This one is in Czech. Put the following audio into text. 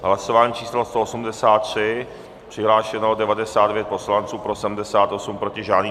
Hlasování číslo 183, přihlášeno 99 poslanců, pro 78, proti žádný.